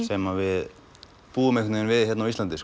sem við búum við hérna á Íslandi